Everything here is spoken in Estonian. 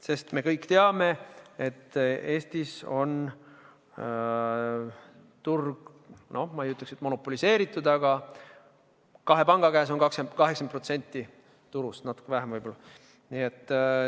Sest me kõik teame, et Eestis on turg, noh, ma ei ütleks, et monopoliseeritud, aga kahe panga käes on 80% turust või natuke vähem võib-olla.